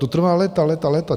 To trvá léta, léta, léta.